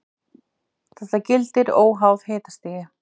Þetta gildir óháð hitastigi.